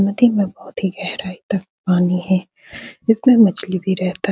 नदी में बहुत ही गहराई तक पानी है। इसमें मछली भी रहता --